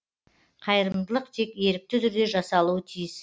қайырымдылық тек ерікті түрде жасалуы тиіс